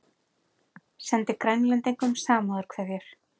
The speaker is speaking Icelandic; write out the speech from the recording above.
Sendi Grænlendingum samúðarkveðjur